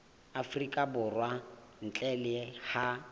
afrika borwa ntle le ha